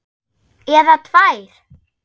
Eða tvær.